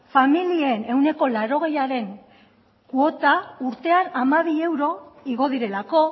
familien ehuneko laurogeiaren kuota urtean hamabi euro igo direlako